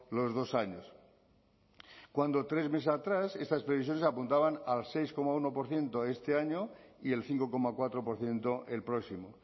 los dos años cuando tres meses atrás estas previsiones apuntaban al seis coma uno por ciento este año y el cinco coma cuatro por ciento el próximo